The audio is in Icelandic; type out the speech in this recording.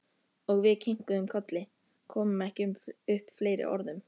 Og við kinkuðum kolli, komum ekki upp fleiri orðum.